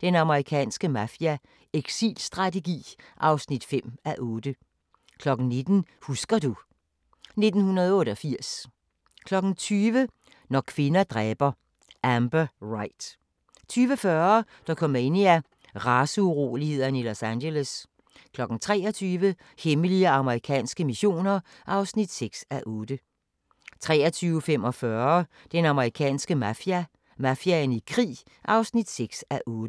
Den amerikanske mafia: Exitstrategi (5:8)* 19:00: Husker du ... 1988 20:00: Når kvinder dræber – Amber Wright 20:40: Dokumania: Raceurolighederne i Los Angeles 23:00: Hemmelige amerikanske missioner (6:8) 23:45: Den amerikanske mafia: Mafiaen i krig (6:8)